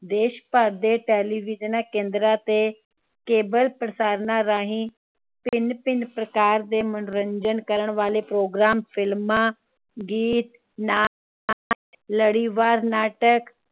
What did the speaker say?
ਦੇਸ਼ ਭਰ ਦੇ television ਕੇਂਦਰਾਂ ਤੇ cable ਪ੍ਰਸਾਰਣਾ ਰਾਹੀਂ ਭਿੰਨ ਭਿੰਨ ਪ੍ਰਕਾਰ ਦੇ ਮਨੋਰੰਜਨ ਕਰਨ ਵਾਲੇ programfilm, ਗੀਤ, ਨਾਟਕ, ਲੜੀਵਾਰ ਨਾਟਕ